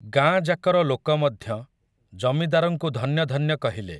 ଗାଁଯାକର ଲୋକ ମଧ୍ୟ, ଜମିଦାରଙ୍କୁ ଧନ୍ୟ ଧନ୍ୟ କହିଲେ ।